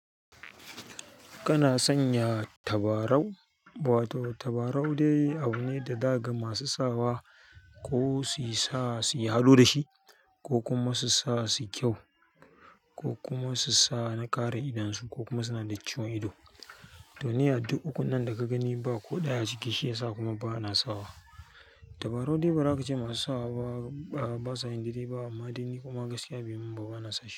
Kana sanya tabarau, wato tabarau dai abu ne da daga masu sawa ko su sa suyi ado dashi ko kuma su sa suyi kyau, ko su sa na kare idon su ko kuma suna da ciwon ido duniya duk uku nan da ka gani ba ko ɗaya a ciki shi ya sa kuma ba ana sawa. Tabarau dai ba za ka ce masu sawa ba, ba sa yin daidai ba amma dai ni kuma gaskiya bai mun ba bana sashi.